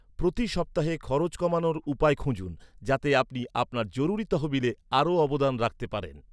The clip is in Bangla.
প্রতি সপ্তাহে খরচ কমানোর উপায় খুঁজুন, যাতে আপনি আপনার জরুরি তহবিলে আরও অবদান রাখতে পারেন।